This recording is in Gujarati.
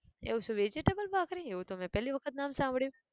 એવું છે vegetable ભાખરી! એવું તો મેં પહેલી વખત નામ સાંભળ્યું!